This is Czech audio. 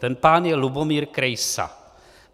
Ten pán je Lubomír Krejsa.